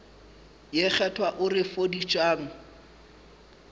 ye kgethwa o re fodišang